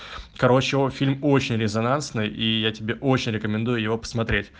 короче о фильм очень резонансный и я тебе очень рекомендую его посмотреть